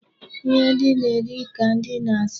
Ihe ndi na-eri ka ndị na-asọ.